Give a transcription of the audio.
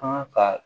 Kan ka